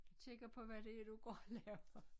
Kigger på hvad det er du går og laver